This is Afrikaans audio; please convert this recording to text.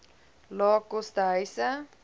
lae koste huise